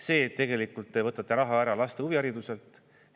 See, et tegelikult te võtate raha ära laste huvihariduselt.